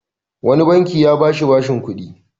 Wani banki ya ba shi bashin kuɗi.